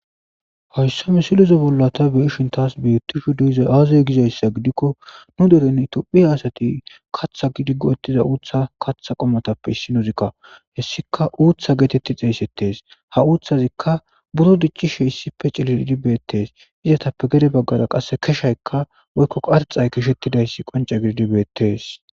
Haysa misileza bolla ta beyishin tas betishe dizay aze gizaysa gidiko ba deren tophiya asati katha gidi go'etiza utha katha qumatape issinozika hesika utha geteti xeygetes ha uthazika buro dicishe issipe cililishe betes izetape gede bagara qase keshayka woyko qorxayka keshatidays qonce gidi betes